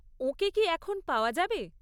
ওঁকে কি এখন পাওয়া যাবে?